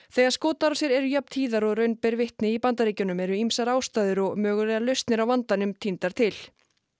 þegar skotárásir eru jafn tíðar og raun ber vitni í Bandaríkjunum eru ýmsar ástæður og mögulegar lausnir á vandanum týndar til